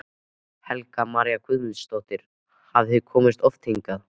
Helga María Guðmundsdóttir: Hafið þið komið oft hingað?